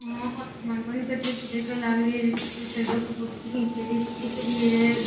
ओ तो ध्यान कोनी कठे की जगह लाग री है कोई सड़क री फोटो खेचड़ी सी दिख री है।